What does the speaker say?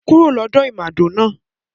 Kúrò lọ́dọ̀ ìmàdò náà